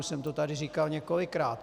Už jsem to tady říkal několikrát.